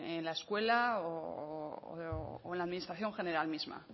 en la escuela o en la administración general misma